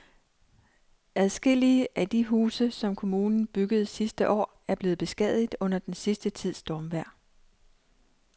Adskillige af de huse, som kommunen byggede sidste år, er blevet beskadiget under den sidste tids stormvejr.